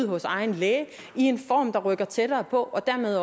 hos egen læge i en form der rykker tættere på og dermed